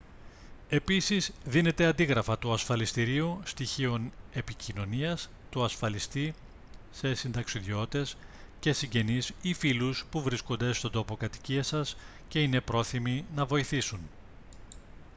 επίσης δίνετε αντίγραφα του ασφαλιστηρίου / στοιχείων επικοινωνίας του ασφαλιστή σε συνταξιδιώτες και συγγενείς ή φίλους που βρίσκονται στον τόπο κατοικίας σας και είναι πρόθυμοι να βοηθήσουν